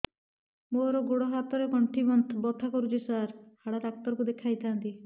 ମୋର ଗୋଡ ହାତ ର ଗଣ୍ଠି ବଥା କରୁଛି ସାର ହାଡ଼ ଡାକ୍ତର ଙ୍କୁ ଦେଖାଇ ଥାନ୍ତି